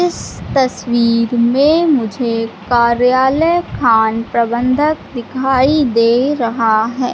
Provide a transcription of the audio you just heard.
इस तस्वीर में मुझे कार्यालय खान प्रबंधक दिखाई दे रहा है।